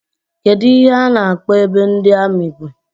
Kedụ ihe a na-akpọ ebe ndị amị bi?